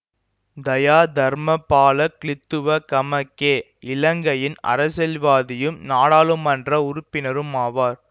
தயா தர்மபால கிலித்துவ கமக்கே இலங்கையின் அரசியல்வாதியும் நாடாளுமன்ற உறுப்பினரும் ஆவார்